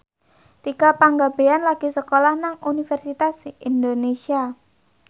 Tika Pangabean lagi sekolah nang Universitas Indonesia